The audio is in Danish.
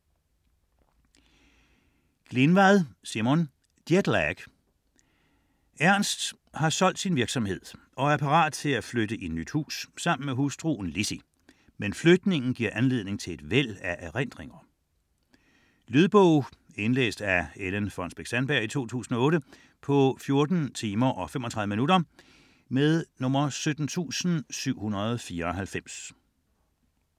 Glinvad, Simon: Jetlag Ernst har solgt sin virksomhed og er parat til at flytte i nyt hus sammen med hustruen Lizzie, men flytningen giver anledning til et væld af erindringer. Lydbog 17794 Indlæst af Ellen Fonnesbech-Sandberg, 2008. Spilletid: 14 timer, 35 minutter.